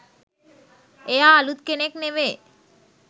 එයා අලුත් කෙනෙක් නෙවේ.